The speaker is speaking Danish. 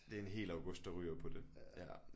Det en hel august der ryger på det ja